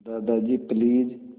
Dadaji please